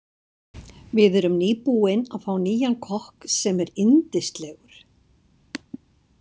Við erum nýbúin að fá nýjan kokk sem er yndislegur.